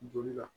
Joli la